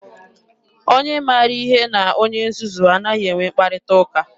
Onye maara ihe na onye nzuzu anaghị enwe mkparịta ụka.